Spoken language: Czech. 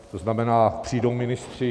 To znamená, přijdou ministři?